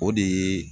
O de ye